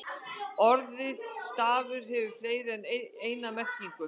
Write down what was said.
Orðið stafur hefur fleiri en eina merkingu.